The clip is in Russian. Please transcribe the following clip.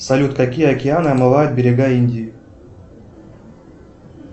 салют какие океаны омывают берега индии